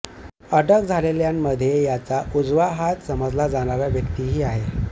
अटक झालेल्यांमध्ये त्याचा उजवा हात समजला जाणारा व्यक्तीही आहे